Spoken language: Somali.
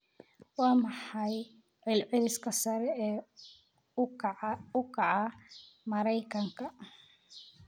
waa maxay celceliska sare u kaca maraykanka